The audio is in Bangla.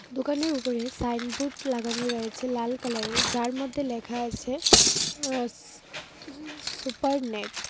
দোকানটির উপরে সাইনবোর্ড লাগানো রয়েছে লাল কালারের যার মধ্যে লেখা আছে উ সুপার নেট ।